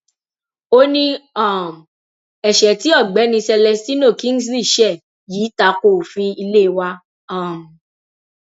ó ní um ẹṣẹ tí ọgbẹni celestino kingsley ṣe yìí ta ko òfin ilé wa um